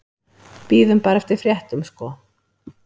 Bíðum bara eftir fréttum sko.